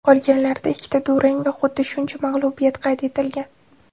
Qolganlarida ikkita durang va xuddi shuncha mag‘lubiyat qayd etilgan.